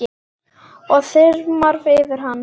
Það þyrmir yfir hann.